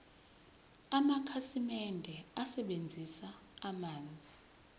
amakhasimende asebenzisa amanzi